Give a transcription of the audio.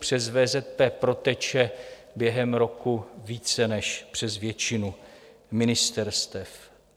Přes VZP proteče během roku více než přes většinu ministerstev.